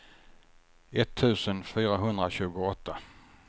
etttusen fyrahundratjugoåtta